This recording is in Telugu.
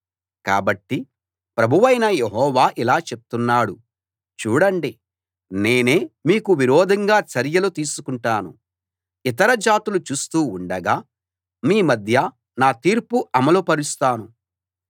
కాబట్టి ప్రభువైన యెహోవా ఇలా చెప్తున్నాడు చూడండి నేనే మీకు విరోధంగా చర్యలు తీసుకుంటాను ఇతర జాతులు చూస్తూ ఉండగా మీ మధ్య నా తీర్పు అమలు పరుస్తాను